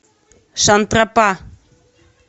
шантрапа